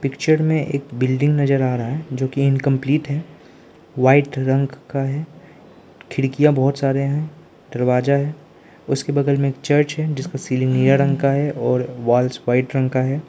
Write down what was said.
Picture में एक building नजर आ रहा है जो की इनकंप्लीट है वाइट रंग का है खिड़कियां बहुत सारे हैं दरवाजा है उसके बगल में चर्च है जिसका सीलिंग निला रंग का है और वाल्स वाइट रंग का है।